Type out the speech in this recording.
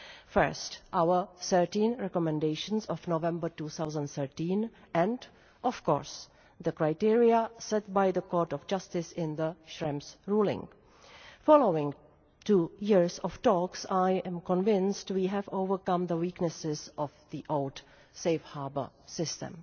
First, our 13 recommendations of November 2013 and, of course, the criteria set by the Court of Justice in the Schrems ruling. Following two years of talks, I am convinced we have overcome the weaknesses of the old Safe Harbour system.